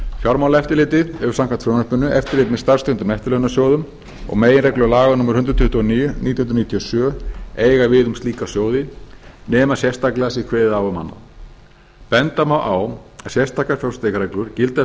fjármálaeftirlitið hefur samkvæmt frumvarpinu eftirlit með starfstengdum eftirlaunasjóðum og meginreglur laga númer hundrað tuttugu og níu nítján hundruð níutíu og sjö eiga við um slíka sjóði nema sérstaklega sé kveðið á um annað benda má á að sérstakar fjárfestingarreglur gilda fyrir